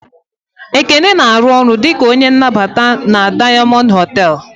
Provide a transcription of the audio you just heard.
Ekene na arụ ọrụ dịka onye nnabata na Dayamondu hotel